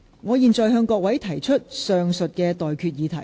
我現在向各位提出上述待決議題。